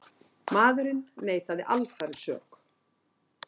Maðurinn neitaði alfarið sök